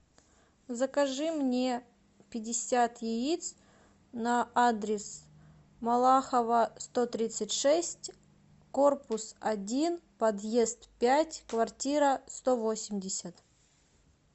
закажи мне пятьдесят яиц на адрес малахова сто тридцать шесть корпус один подъезд пять квартира сто восемьдесят